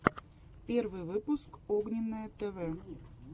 первый выпуск огненное тв